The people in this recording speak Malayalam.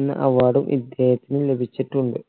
എന്ന award ഉം ഇദ്ദേഹത്തിന് ലഭിച്ചിട്ടുണ്ട്